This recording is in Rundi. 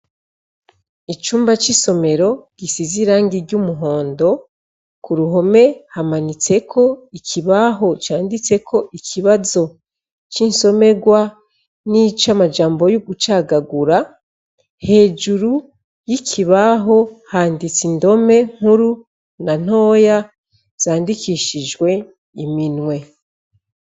Icumba c'isomero gisize irangi ry'umuhondo ku ruhome hamanitseko ikibaho canditseko ikibazo c'insomerwa n'ico amajambo y'ugucagagura hejuru y'ikibaho handitse indome nkuru na ntowe ia zandikishijwe iminwe.